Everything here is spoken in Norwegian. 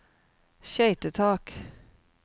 skøytetak